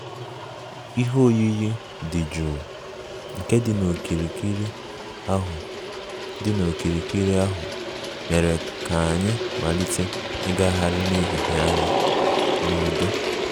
Ihe oyiyi dị jụụ nke dị n'okirikiri ahụ dị n'okirikiri ahụ mere ka anyị malite ịgagharị n'ehihie anyị n'udo